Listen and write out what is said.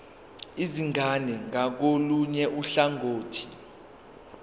izingane ngakolunye uhlangothi